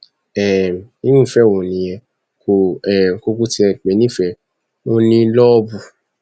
um irú ìfẹ wo nìyẹn kò um kúkú tiẹ pè é nífẹẹ ò ní lóòbù